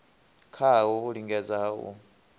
kwawo u lingedza ha u